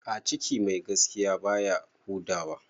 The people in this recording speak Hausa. A ciki mai gaskiya baya huda wa